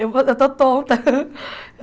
Eu eu estou tonta.